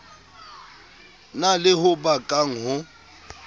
na le ho bakang ho